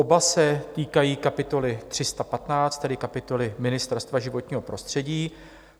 Oba se týkají kapitoly 315, tedy kapitoly Ministerstvo životního prostředí.